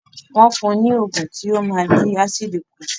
Wọ́n fún un ní ògùn tí ó máa dín ásìdì kù